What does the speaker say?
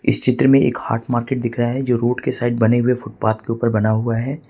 इस चित्र में एक हॉट मार्केट दिख रहा है जो रोड के साइड बने हुए फुटपाथ के ऊपर बना हुआ है।